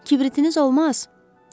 Kibritiniz olmaz?